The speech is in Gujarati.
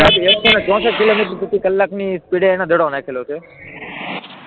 સાહેબ, એકસો ને ચોસઠ કિલોમીટર પ્રતિ કલાકની સ્પીડે એમને દડો નાખેલો છે.